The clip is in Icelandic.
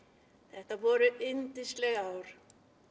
þetta voru yndisleg ár